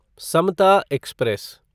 Samta express